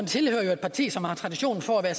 tilhører et parti som har tradition for at